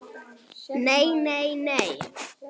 NEI, NEI, NEI.